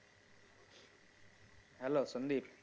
hello Sandeep?